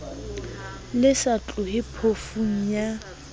le sa tlohe phofung ya